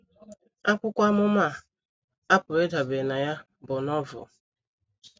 Akwụkwọ amụma a a pụrụ ịdabere na ya bụ Novel.